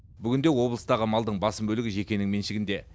бүгінде облыстағы малдың басым бөлігі жекенің меншігінде